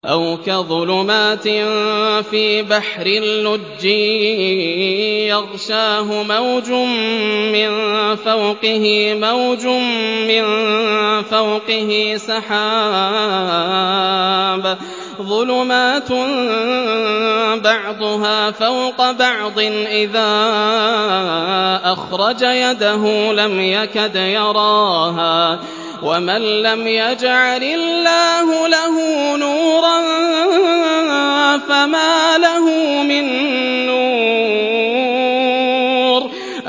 أَوْ كَظُلُمَاتٍ فِي بَحْرٍ لُّجِّيٍّ يَغْشَاهُ مَوْجٌ مِّن فَوْقِهِ مَوْجٌ مِّن فَوْقِهِ سَحَابٌ ۚ ظُلُمَاتٌ بَعْضُهَا فَوْقَ بَعْضٍ إِذَا أَخْرَجَ يَدَهُ لَمْ يَكَدْ يَرَاهَا ۗ وَمَن لَّمْ يَجْعَلِ اللَّهُ لَهُ نُورًا فَمَا لَهُ مِن نُّورٍ